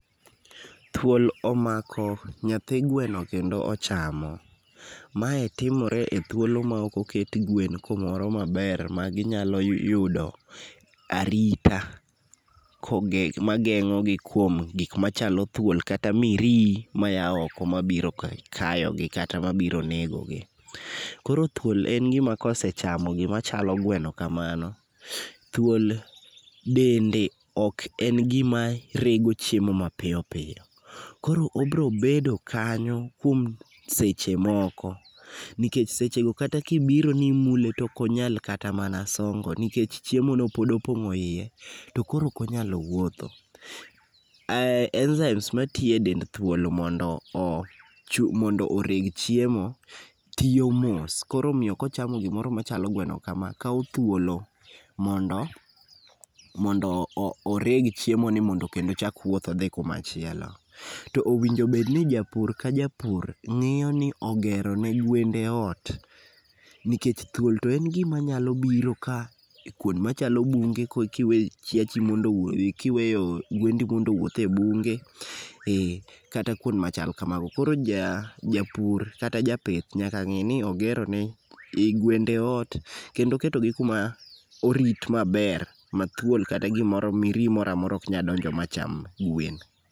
Thuol omako nyathi gweno kendo ochamo. Mae timore e thuolo ma ok oket gwen kumoro maber ma ginyalo yudo arita mageng'ogi kuom gik machalo thuol kata mirii maya oko mabiro kayogi kata mabiro nego gi. Koro thuol en gi ma kosechamo gimachalo gweno kamano, thuol, dende ok en gima rego chiemo mapiyo piyo. Koro obiro bedo kanyo kuom seche moko, nikech sechego kata kibiro ni imule to ok onyal kata mana songo nikech chiemono pod opong'o iye, to koro ok onyal wuotho. enzymes matiyo e dend thuol mondo oreg chiemo tiyo mos, koro omiyo kochamo gimoro machalo gweno kamano, kawo thuolo mondo oreg chiemoni mondo kendo ochak wuoth odhi kumachielo. To owinjo obed ni japur ka japur, ng'iyo ni ogero ni gwende ot nikech thuol to en gimanyalo biro ka, kwond machalo bunge kiweyo gwendi mondo owuoth e bunge, kata kuond machal kamago. Koro japur kata japith nyaka ng'ini ogero ne gwende ot kendo oketogi kuma orit maber ma thuol kata gimoro, mirihi mora mora ok nyalo donjo ma cham gwen.